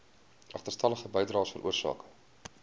agterstallige bydraes veroorsaak